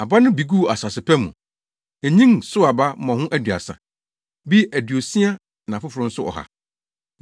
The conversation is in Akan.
Aba no bi guu asase pa mu. Enyin, sow aba mmɔho aduasa; bi aduosia na afoforo nso ɔha.